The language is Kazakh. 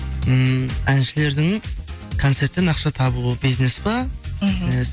ммм әншілердің концерттен ақша табуы бизнес па бизнес